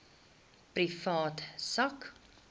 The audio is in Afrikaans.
privaat sak